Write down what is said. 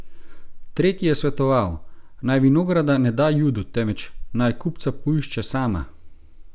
Tretji je svetoval, naj vinograda ne da Judu, temveč naj kupca poišče sama.